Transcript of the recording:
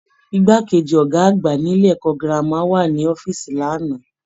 Igbákejì Ọgá àgbà ilé ẹ̀kọ́ gírámà wà ní ọ̀fiísí l'ana.